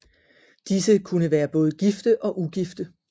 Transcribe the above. Disse kunne være både gifte og ugifte